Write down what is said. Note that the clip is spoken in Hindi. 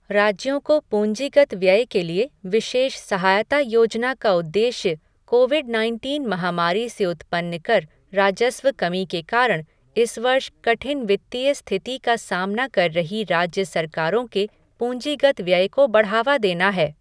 राज्यों को पूंजीगत व्यय के लिए विशेष सहायता योजना का उद्देश्य कोविड नाइनटीन महामारी से उत्पन्न कर राजस्व कमी के कारण, इस वर्ष कठिन वित्तीय स्थिति का सामना कर रही राज्य सरकारों के पूंजीगत व्यय को बढ़ावा देना है।